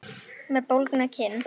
Með bólgna kinn.